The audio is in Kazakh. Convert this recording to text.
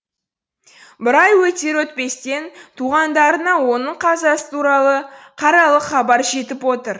бір ай өтер өтпестен туғандарына оның қазасы туралы қаралы хабар жетіп отыр